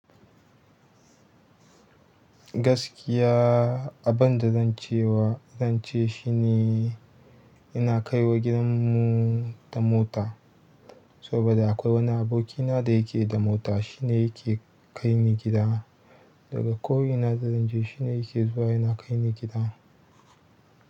Gaskiya abunda zancewa, zance shi ne ina kaiwa gidanmu da mota. Saboda akwai wani abokina da yake da mota, shi ne yake kai ni gida. Daga ko ina da zanje shine yake zuwa yana kaini gida.